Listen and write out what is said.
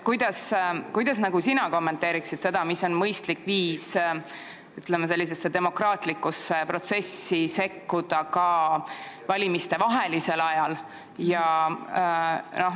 Kuidas sina kommenteerid seda, mis on mõistlik viis demokraatlikusse protsessi sekkuda ka valimistevahelisel ajal?